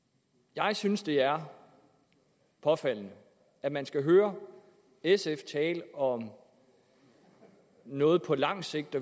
jeg synes at det er påfaldende at man skal høre sf tale om noget på lang sigt